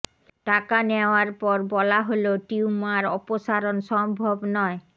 টাকা নেওয়ার পর বলা হলো টিউমার অপসারণ সম্ভব নয়